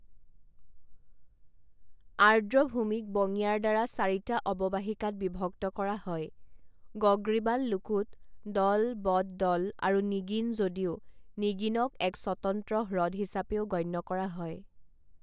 আৰ্দ্ৰভূমিক বঙিয়াৰ দ্বাৰা চাৰিটা অৱবাহিকাত বিভক্ত কৰা হয় গগ্ৰিবাল লোকুত দল বড দল আৰু নিগিন যদিও নিগিনক এক স্বতন্ত্ৰ হ্ৰদ হিচাপেও গণ্য কৰা হয়।